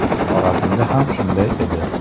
Xorazmda ham shunday edi.